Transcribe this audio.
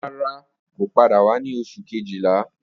Rara, ko pada wa ni Oṣu kejila